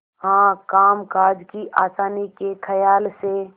हाँ कामकाज की आसानी के खयाल से